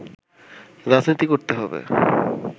রাজনীতি করতে হবে